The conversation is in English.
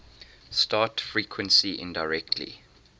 gene frequency indirectly